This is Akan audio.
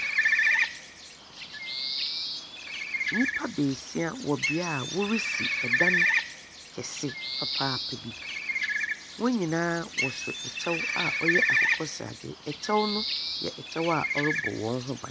Nnyipa baasia wɔ bea a wɔresi dan kɛse papaapa bi. Wɔn nyinaa wɔsa kyɛw a ɔyɛ akokɔsrade. Ɛkyɛw no yɛ kyɛw a ɔrebɔ wɔn ho ban.